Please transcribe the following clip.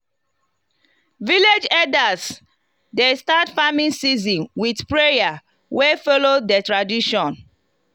village elders dey start farming season with prayer wey follow the tradition.